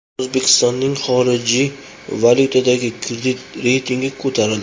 O‘zbekistoning xorijiy valyutadagi kredit reytingi ko‘tarildi.